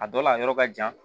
A dɔ la a yɔrɔ ka jan